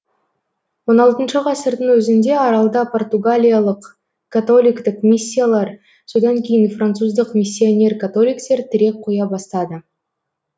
он алтыншы ғасырдың өзінде аралда португалиялық католиктік миссиялар содан кейін француздық миссионер католиктер тірек қоя бастады